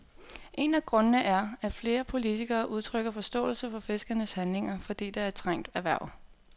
En af grundene er, at flere politikere udtrykker forståelse for fiskernes handlinger, fordi det er et trængt erhverv.